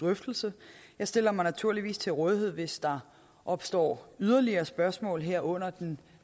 drøftelse jeg stiller mig naturligvis til rådighed hvis der opstår yderligere spørgsmål her under den